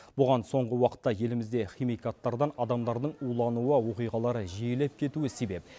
бұған соңғы уақытта елімізде химикаттардан адамдардың улануы оқиғалары жиілеп кетуі себеп